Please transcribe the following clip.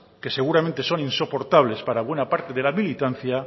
que seguramente son insoportables para alguna parte de la militancia